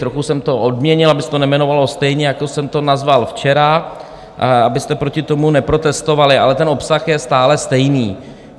Trochu jsem to obměnil, aby se to nejmenovalo stejně, jako jsem to nazval včera, abyste proti tomu neprotestovali, ale ten obsah je stále stejný.